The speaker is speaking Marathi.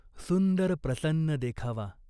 सुंदर प्रसन्न देखावा !